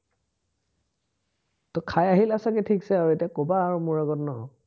তো খাই আহিলা আৰু ঠিকছে, এতিয়া কবা আৰু মোৰ আগত ন